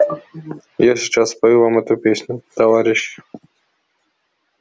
я сейчас спою вам эту песню товарищи